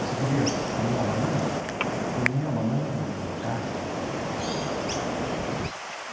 Você queria comer uma banana, comia a banana no no cacho.